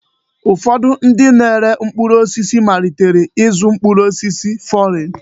Ụfọdụ ndị na-ere mkpụrụ osisi amalitela ịzụ mkpụrụ osisi fọrịn.